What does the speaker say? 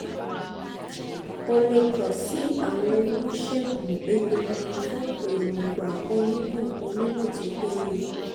o le kan si awon onisegun egungun fun eroungba onimo onimo to peye